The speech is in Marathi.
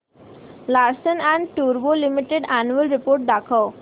लार्सन अँड टुर्बो लिमिटेड अॅन्युअल रिपोर्ट दाखव